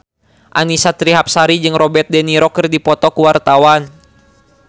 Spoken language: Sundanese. Annisa Trihapsari jeung Robert de Niro keur dipoto ku wartawan